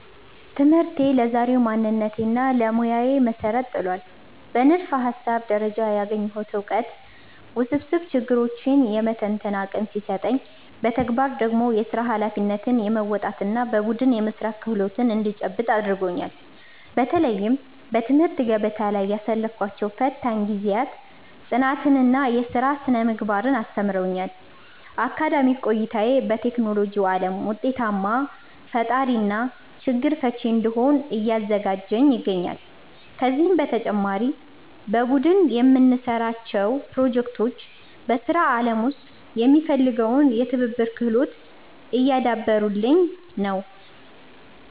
ትምህርቴ ለዛሬው ማንነቴና ለሙያዬ መሠረት ጥሏል። በንድፈ-ሐሳብ ደረጃ ያገኘሁት ዕውቀት ውስብስብ ችግሮችን የመተንተን አቅም ሲሰጠኝ፣ በተግባር ደግሞ የሥራ ኃላፊነትን የመወጣትና በቡድን የመሥራት ክህሎት እንድጨብጥ አድርጎኛል። በተለይም በትምህርት ገበታ ላይ ያሳለፍኳቸው ፈታኝ ጊዜያት ጽናትንና የሥራ ሥነ-ምግባርን አስተምረውኛል። አካዳሚክ ቆይታዬ በቴክኖሎጂው ዓለም ውጤታማ ፈጣሪና ችግር ፈቺ እንድሆን እያዘጋጀኝ ይገኛል። ከዚህም በተጨማሪ በቡድን የምንሠራቸው ፕሮጀክቶች በሥራ ዓለም ውስጥ የሚፈለገውን የትብብር ክህሎት እያዳበሩልኝ ነው።